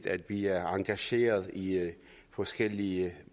at vi er engageret i forskellige